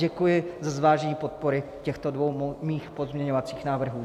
Děkuji za zvážení podpory těchto dvou mých pozměňovacích návrhů.